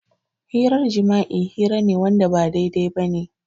Hirar jima'i hira ne Wanda ba daidai bane.